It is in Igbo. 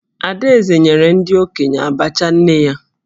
Adaeze nyere ndị okenye Abacha nne ya